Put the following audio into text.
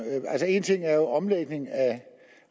en ting er jo omlægning af